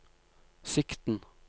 sikten